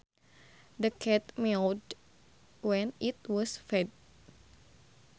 The cat meowed when it was fed